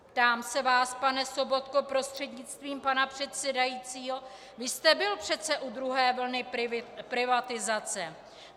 Ptám se vás, pane Sobotko prostřednictvím pana předsedajícího: Vy jste byl přece u druhé vlny privatizace.